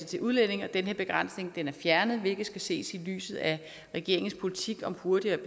til udlændinge og den her begrænsning er fjernet hvilket skal ses i lyset af regeringens politik om hurtigere